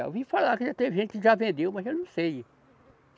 Eu vi falar que já teve gente que já vendeu, mas eu não sei.